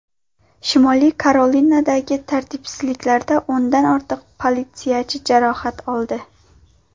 Shimoliy Karolinadagi tartibsizliklarda o‘ndan ortiq politsiyachi jarohat oldi.